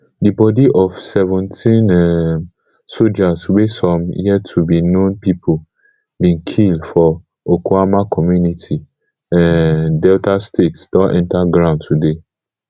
di bodi of seventeen um sojas wey some yettobe known pipo bin kill for okuama community um delta state don enta ground today